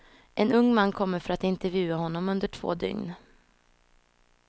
En ung man kommer för att intervjua honom under två dygn.